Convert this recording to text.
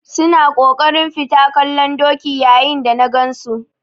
Su na kokarin fita kallon doki yayin da na gan su.